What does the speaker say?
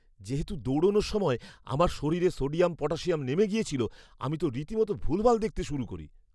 যেহেতু দৌড়ানোর সময় আমার শরীরে সোডিয়াম পটাশিয়াম নেমে গিয়েছিল, আমি তো রীতিমতো ভুলভাল দেখতে শুরু করি!